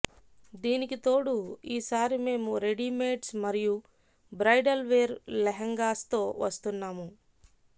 దీనికి తోడు ఈసారి మేము రెడీమేడ్స్ మరియు బ్రైడల్ వేర్ లెహెంగాస్తో వస్తున్నాము